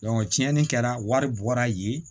tiɲɛni kɛra wari bɔra yen